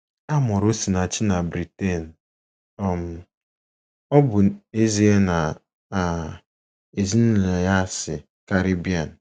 A mụrụ Osinachi na Britain, um ọ bụ ezie na um ezinụlọ ya si Caribbean.